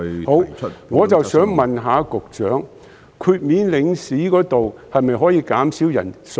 好的，我想問局長，領事豁免方面可否縮減人數？